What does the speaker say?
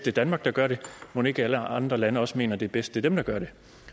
er danmark der gør det mon ikke alle andre lande også mener at det er bedst er dem der gør det